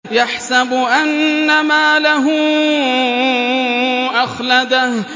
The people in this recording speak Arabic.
يَحْسَبُ أَنَّ مَالَهُ أَخْلَدَهُ